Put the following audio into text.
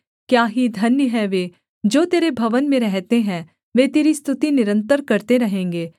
क्या ही धन्य हैं वे जो तेरे भवन में रहते हैं वे तेरी स्तुति निरन्तर करते रहेंगे सेला